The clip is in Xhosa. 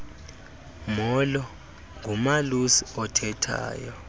molo ngumalusi othethayo